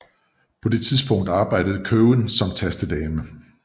På det tidspunkt arbejde Cowen som tastedame